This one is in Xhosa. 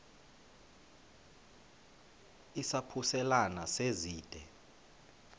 izaphuselana se zide